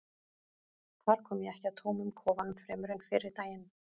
þar kom ég ekki að tómum kofanum fremur en fyrri daginn